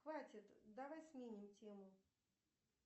хватит давай сменим тему